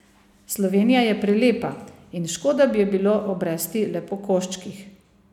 Slovenija je prelepa in škoda bi jo bilo obresti le po koščkih.